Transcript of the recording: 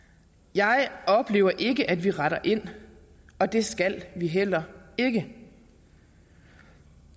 jeg oplever ikke at vi retter ind og det skal vi heller ikke